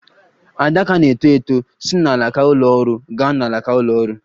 Adaka na - eto eto si n'alaka ụlọ ọrụ gaa n'alaka ụlọ ọrụ.